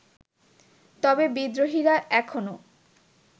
তবে বিদ্রোহীরা এখনো